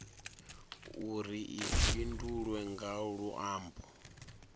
uri i fhindulwe nga luambo